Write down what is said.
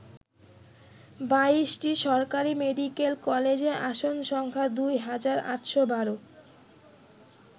২২টি সরকারি মেডিকেল কলেজে আসন সংখ্যা দুই হাজার ৮১২।